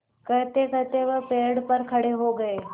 कहतेकहते वह पेड़ पर खड़े हो गए